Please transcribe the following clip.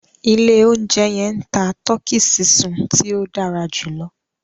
Ilẹ̀ ọ̀unjẹ yẹn ń tà Tọkí sísun tí o dàrá júlọ̀